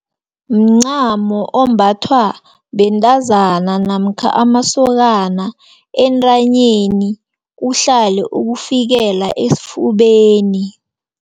Mncamo ombathwa bentazana, namkha amasokana entanyeni, uhlale ukufikela esifubeni.